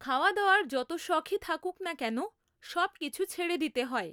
খাওয়া দাওয়ার যত শখই থাকুক না কেন, সবকিছু ছেড়ে দিতে হয়।